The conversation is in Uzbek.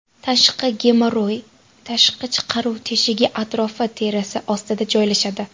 Tashqi gemorroy tashqi chiqaruv teshigi atrofi terisi ostida joylashadi.